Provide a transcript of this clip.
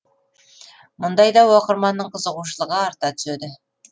мұндайда оқырманның қызығушылығы арта түседі